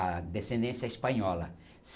A descendência é espanhola.